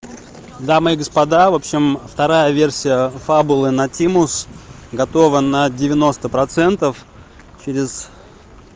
дамы и господа в общем вторая версия фабула на тимус готова на девяносто процентов через